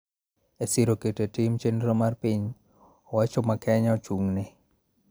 E siro keto e tim chenro mar piny owacho ma Kenya ochung�ne